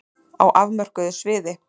Á afmörkuðu sviði.